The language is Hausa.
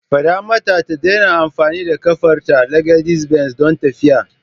Fada mata ta daina amfani da kafarta (legedis benz) don tafiya.